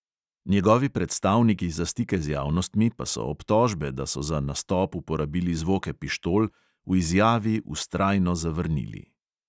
Njegovi predstavniki za stike z javnostmi pa so obtožbe, da so za nastop uporabili zvoke pištol, v izjavi vztrajno zavrnili.